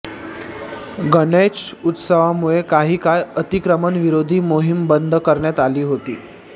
गणेशोत्सवामुळे काही काळ अतिक्रमण विरोधी मोहीम बंद करण्यात आली होती